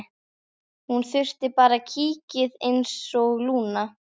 Hún þurfti bara kikkið einsog Lúna.